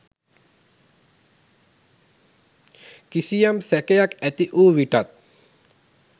කිසියම් සැකයක් ඇතිවූ විටත්